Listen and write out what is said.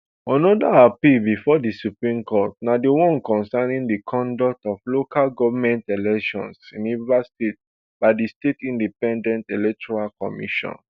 anoda appeal bifor di supreme court na di one concerning di condut of local government elections in rivers state by di state independent electoral commission